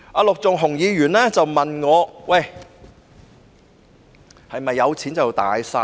陸頌雄議員問我，是否有錢便"大晒"？